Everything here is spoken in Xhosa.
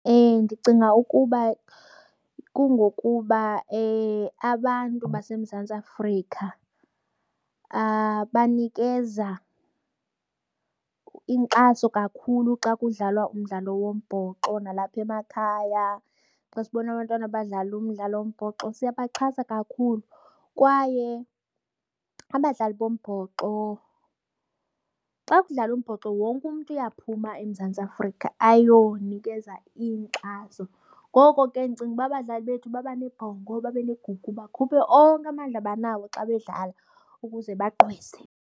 Ndicinga ukuba kungokuba abantu baseMzantsi Afrika banikeza inkxaso kakhulu xa kudlalwa umdlalo wombhoxo. Nalapha emakhaya xa sibona abantwana abadlala umdlalo wombhoxo siyabaxhasa kakhulu kwaye abadlali bombhoxo xa kudlalwa umbhoxo, wonke umntu uyaphuma eMzantsi Afrika ayonikeza inkxaso. Ngoko ke ndicinga ukuba abadlali bethu baba nebhongo babe negugu bakhuphe onke amandla abanawo xa bedlala ukuze bagqwese.